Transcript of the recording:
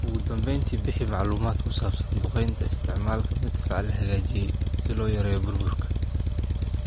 "Ugu dambeyntii, bixi macluumaad ku saabsan duqeynta...isticmaalka madfac la hagaajiyay si loo yareeyo burburka."